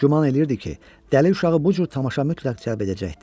Güman eləyirdi ki, dəli uşağı bu cür tamaşa mütləq cəlb edəcəkdi.